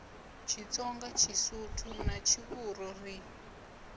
tshitsonga tshisuthu na tshivhuru ri